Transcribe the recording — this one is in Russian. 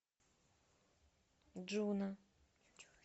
джуна